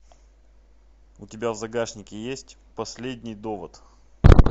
у тебя в загашнике есть последний довод